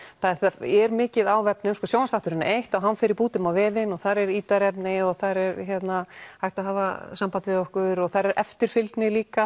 þetta er mikið á vefnum sjónvarpsþátturinn er eitt og hann fer í bútum á vefinn og þar er ítarefni og hægt að hafa samband við okkur og þar er eftirfylgni líka